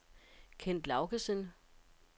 Kent Laugesen